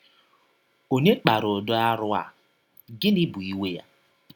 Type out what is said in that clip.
Ọ̀nye kpara ụdị arụ a, gịnịkwa bụ iwe ya?